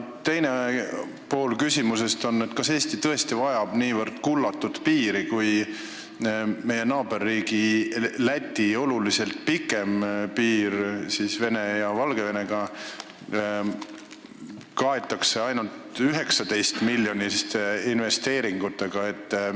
Teine pool küsimusest on see: kas Eesti vajab tõesti niivõrd kullatud piiri, kui meie naaberriigi Läti oluliselt pikem piir Venemaa ja Valgevenega kaetakse ainult 19-miljoniliste investeeringutega?